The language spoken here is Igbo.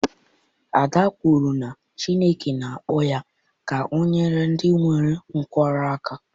Ade kwuru na Chineke na-akpọ ya ka o nyere ndị nwere nkwarụ aka